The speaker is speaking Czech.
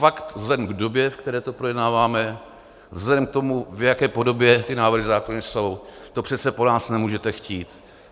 Fakt vzhledem k době, v které to projednáváme, vzhledem k tomu, v jaké podobě ty návrhy zákonů jsou, to přece po nás nemůžete chtít.